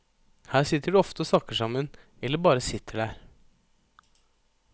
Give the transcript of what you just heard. Her sitter de ofte og snakker sammen, eller bare sitter der.